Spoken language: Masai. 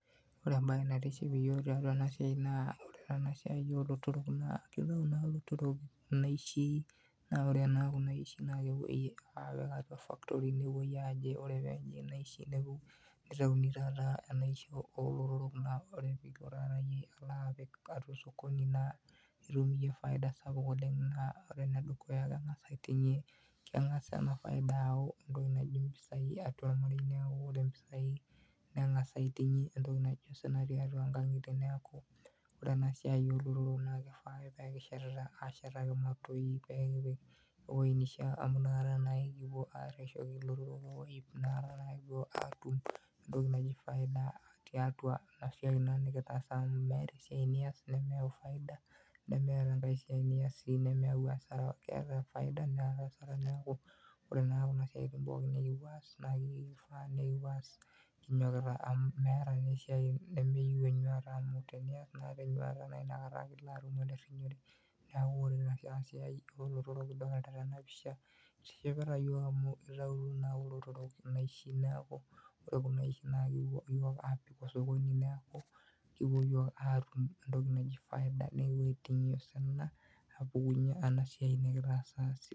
Oore entoki naitiship teena siai olotorok naa oore enasiai olotorok naa kepuo ilotorok aitau inaishi oore inaishi nepuoi aaya factory nepuoi aaji oore peyie eeji inaishi neitauni taata inaishi olotorok naa oore taata iyie peyie iilo apik atua osokoni naa itum iiyie[cs[faida sapuk oleng naa oore enedukuya keng'sa aiting'ie keng'as eena faida ayau impisai atua ormarei naa oore impisai neng'as aiting'ie entoki naki osina tiatua inkang'ituie niaku oore enasiai olotorok naa keifaa aake peyie kishetiata ashetaki imatoi pee kipik ewueji neishiaa amuu inakata naake kipuo areshoki ilotorok iloip nekipuo aatum entoki naji faida tiatua iina siai naa nekiasita amuu meeta esiai nias nemeyau faida nemeeta esiai nias nemeyau hasara keeta hasara neeta faida oore na kuna siaitin nekinyokita kipuoa aas keyieu nekipuo aas kinyokita amuu meeta esiai nemeyieu enyiata amuu tenias naa tenyuata na naikata ilo atum olerinyore. Niaku oore eena siai olotorok enaa enidolta teena pisha, itishipita iyiok amuu eitautuo naa kulo otorok inaishi niaku oore kuuna aishii naa kipuo iyiok aapik osokoni nekitum entoki najji faida nepuo aiting'ie osina apukunyie ena siai nekitaasa sidai.